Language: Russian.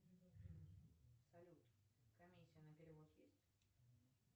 салют комиссия на перевод есть